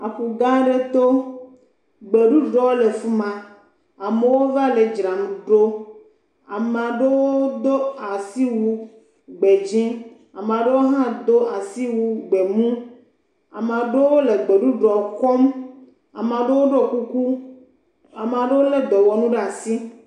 Aƒu gã aɖe to. Gbeɖuɖɔwo le fi ma. Amewo va le dzram ɖo. Ame aɖewo do asiwu gbedzẽ. Ame aɖewo hã do asiwu gbemu. Ame aɖewo le gbeɖuɖɔ kɔm. Ame aɖewo ɖo kuku. Ame aɖewo lé dɔwɔnu ɖe asi.